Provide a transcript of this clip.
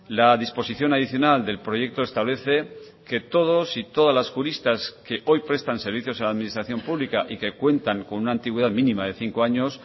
la disposición adicional del proyecto establece que todos y todas las juristas que hoy prestan servicios a la administración pública y que cuentan con una antigüedad mínima de cinco años